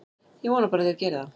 Ég vona bara að þeir geri það.